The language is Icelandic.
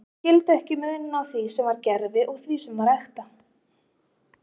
Þeir skildu ekki muninn á því sem var gervi og því sem var ekta.